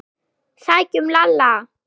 Sækjum Lalla!